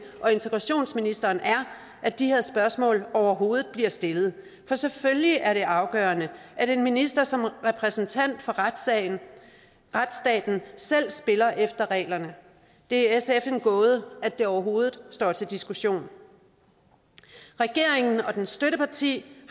og integrationsministeren er at de her spørgsmål overhovedet bliver stillet for selvfølgelig er det afgørende at en minister som repræsentant for retsstaten selv spiller efter reglerne det er sf en gåde at det overhovedet står til diskussion regeringen og dens støtteparti